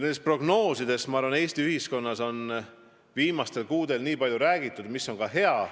Nendest prognoosidest on minu arvates Eesti ühiskonnas viimastel kuudel palju räägitud, mis on ühest küljest hea.